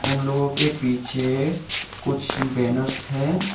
उन लोगों के पीछे कुछ बैनर्स है।